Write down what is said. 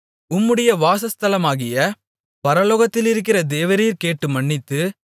உம்முடைய வாசஸ்தலமாகிய பரலோகத்திலிருக்கிற தேவரீர் கேட்டு மன்னித்து